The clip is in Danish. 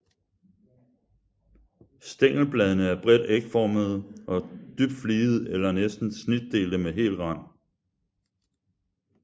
Stængelbladene er bredt ægformede og dybt fligede eller næsten snitdelte med hel rand